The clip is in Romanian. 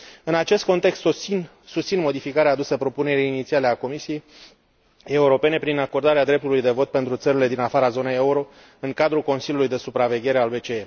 În acest context, susțin modificarea adusă propunerii inițiale a Comisiei Europene prin acordarea dreptului de vot pentru țările din afara zonei euro în cadrul Consiliului de supraveghere al BCE.